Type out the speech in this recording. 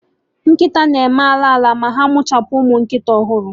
Nkịta na-eme ala ala ma ha mụchapụ ụmụ nkịta ọhụrụ